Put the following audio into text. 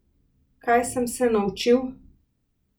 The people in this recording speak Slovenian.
Kaj sem se naučil?